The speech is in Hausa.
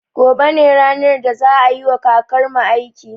Gobe ne ranar da za a yiwa kakarmu aiki